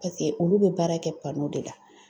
Paseke olu bɛ baara kɛ de la